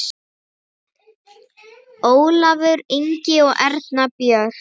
Ólafur Ingi og Erna Björg.